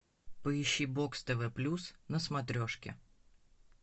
поищи бокс тв плюс на смотрешке